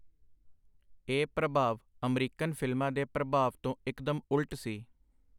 ਇਹ ਪ੍ਰਭਾਵ ਅਮਰੀਕਨ ਫਿਲਮਾਂ ਦੇ ਪ੍ਰਭਾਵ ਤੋਂ ਇਕਦਮ ਉਲਟ ਸੀ.